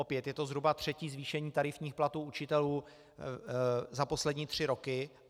Opět je to zhruba třetí zvýšení tarifních platů učitelů za poslední tři roky.